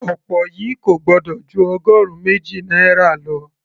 okpor yìí kò gbọ́dọ̀ ju ọgọrun méjì náírà lọ